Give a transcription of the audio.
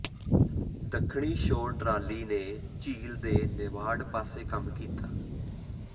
ਦੱਖਣੀ shore trolley ਨੇ ਝੀਲ ਦੇ ਨੇਵਾਰਡ ਪਾਸੇ ਕੰਮ ਕੀਤਾ